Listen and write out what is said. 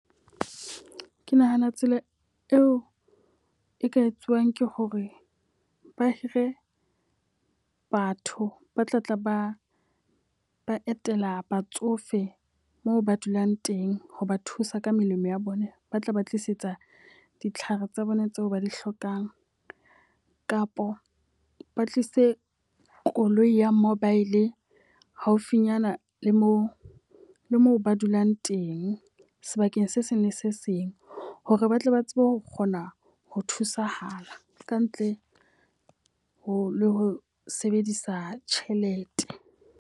Ke nahana tsela eo e ka etsuwang ke hore ba hire batho ba tla tla ba ba etela batsofe moo ba dulang teng ho ba thusa ka melemo ya bona. Ba tla ba tlisetsa ditlhare tsa bona tseo ba di hlokang kapa ba tlisitse koloi ya mobile haufinyana le moo mo ba dulang teng sebakeng se seng le se seng. Hore ba tle ba tsebe ho kgona ho thusahala ka ntle ho sebedisa tjhelete.